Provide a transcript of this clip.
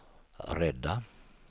rädda